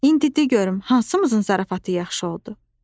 İndi de görüm hansımızın zarafatı yaxşı oldu?